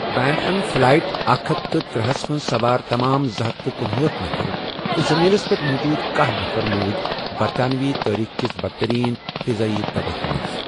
PAN Am flight اکھ ہتھ تہٕ ترے ہَس منٛز سوار تمام زٕ ہتھ تہٕ کنہأٹھ نفر تہٕ زمیٖنَس پٮ۪ٹھ موٗجوٗد کاہ نفر موٗد برطانوی تٲریخ کِس بدترین فضائی تبٲہی منٛز۔